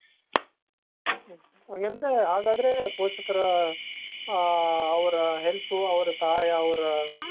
ಹಂಗಂದ್ರೆ ಹಾಗಾದ್ರೆ ಪೋಷಕರ ಆ ಅವರ help ಅವರ ಸಹಾಯ ಅವ್ರ support ಬಹಳ.